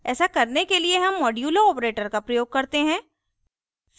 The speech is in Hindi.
ऐसा करने के लिए हम modulo operator का प्रयोग करते हैं